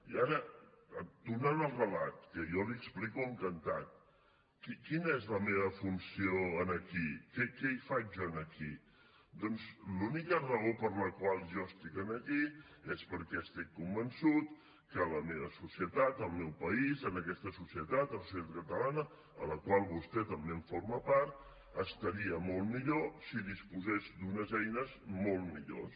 i ara tornant al relat que jo l’hi explico encantat quina és la meva funció aquí què hi faig jo aquí doncs l’única raó per la qual jo estic aquí és perquè estic convençut que la meva societat el meu país en aquesta societat en la societat catalana de la qual vostè també en forma part estaria molt millor si disposés d’unes eines molt millors